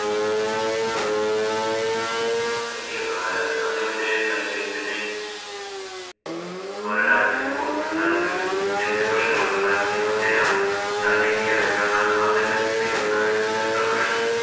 സൈനിക സഹായ വ്യവസ്ഥ എന്ന് മറ്റേ സൈന്യത്തിന് ഓരോ രാജ്യത്തിനു കൊടുക്കുന്ന കണ്ടു ചെറിയ ചെറിയ പ്രശ്നങ്ങള്‍ ഉണ്ടാക്കിയ അതല്ലേ സൈനിക സഹായ വ്യവസ്ഥ എന്ന് പറയുന്നത്.